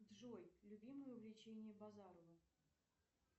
джой любимое увлечение базарова